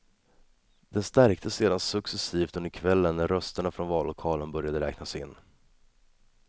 Den stärktes sedan successivt under kvällen när rösterna från vallokalerna började räknas in.